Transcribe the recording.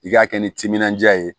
I k'a kɛ ni timinandiya ye